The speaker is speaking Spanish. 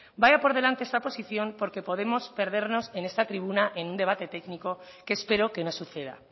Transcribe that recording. vaya por delante esa posición porque podemos perdernos en esta tribuna en un debate técnico que espero que no suceda